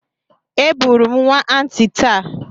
Eburu m nwa Aunty taa.